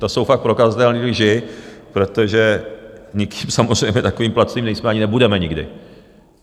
To jsou fakt prokazatelné lži, protože nikým samozřejmě takovým placeni nejsme ani nebudeme nikdy.